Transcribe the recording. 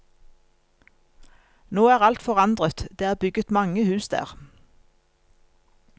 Nå er alt forandret, det er bygget mange hus der.